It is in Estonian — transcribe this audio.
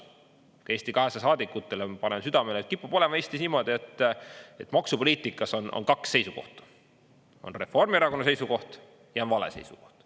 Ka Eesti 200 saadikutele ma panen südamele, et kipub olema Eestis niimoodi, et maksupoliitikas on kaks seisukohta: on Reformierakonna seisukoht ja on vale seisukoht.